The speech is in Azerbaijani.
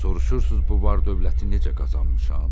Soruşursunuz bu var-dövləti necə qazanmışam?